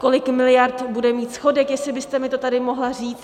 Kolik miliard bude mít schodek, jestli byste mi to tady mohla říct.